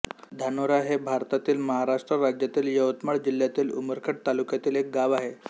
धानोरा हे भारतातील महाराष्ट्र राज्यातील यवतमाळ जिल्ह्यातील उमरखेड तालुक्यातील एक गाव आहे